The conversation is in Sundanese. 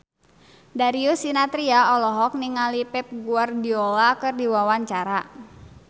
Darius Sinathrya olohok ningali Pep Guardiola keur diwawancara